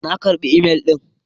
Na karɓi imel ɗin.